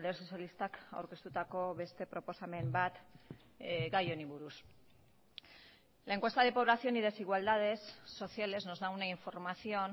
sozialistak aurkeztutako beste proposamen bat gai honi buruz la encuesta de población y desigualdades sociales nos da una información